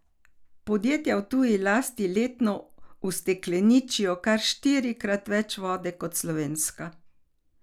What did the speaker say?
Podjetja v tuji lasti letno ustekleničijo kar štirikrat več vode kot slovenska.